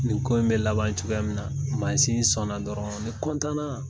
Nin ko in bɛ laban cogoya min na mansin sɔnna dɔrɔn ne na